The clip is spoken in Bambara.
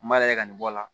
N b'a lagɛ ka nin bɔ a la